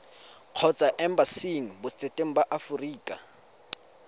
kgotsa embasing botseteng ba aforika